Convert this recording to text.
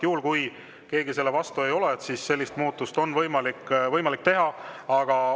Juhul kui keegi selle vastu ei ole, on sellist muudatust võimalik teha.